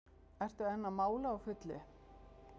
Ertu enn að mála á fullu?